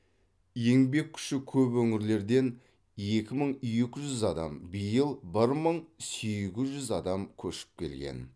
еңбек күші көп өңірлерден екі мың екі жүз адам биыл бір мың сегіз жүз адам көшіп келген